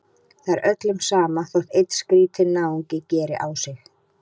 Það er öllum sama þótt einn skrýtinn náungi geri á sig.